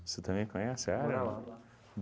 Você também conhece a área?